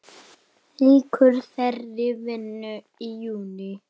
Lýkur þeirri vinnu í júní.